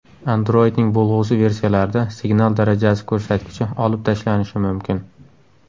Android’ning bo‘lg‘usi versiyalarida signal darajasi ko‘rsatkichi olib tashlanishi mumkin.